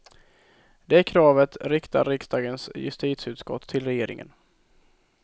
Det kravet riktar riksdagens justitieutskott till regeringen.